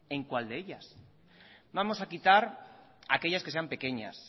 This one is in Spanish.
en cuál de ellas vamos a quitar aquellas que sean pequeñas